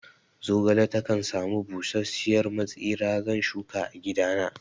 Zogale takan sami busasshiyar matsira, zan shuka a gidana